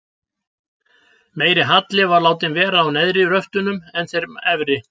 Meiri halli var látinn vera á neðri röftunum en þeim efri.